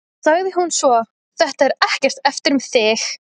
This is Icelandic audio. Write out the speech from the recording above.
sagði hún svo: Þetta er ekkert eftir þig!